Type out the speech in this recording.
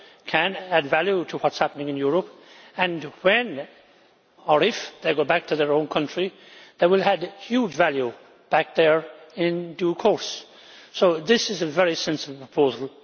can add value to what is happening in Europe and when or if they go back to their own country, they will add huge value back there in due course. So this is a very sensible proposal.